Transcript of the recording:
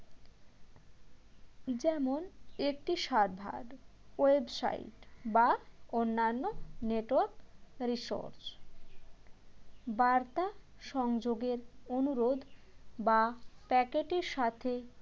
যেমন একটি cyber website বা অন্যান্য network resource বার্তা সংযোগের অনুরোধ বা packet এর সাথে